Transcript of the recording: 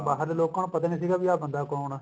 ਬਾਹਰ ਦੇ ਲੋਕਾਂ ਨੂੰ ਪਤਾ ਹੀ ਨਹੀਂ ਸੀਗਾ ਕਿ ਆਹ ਬੰਦਾ ਕੌਣ ਐ